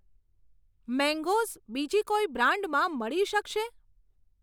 Mangoes બીજી કોઈ બ્રાન્ડમાં મળી શકશે?